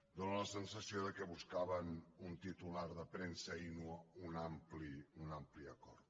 dóna la sensació que buscaven un titular de premsa i no un ampli acord